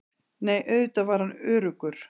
Nei, auðvitað var hann öruggur.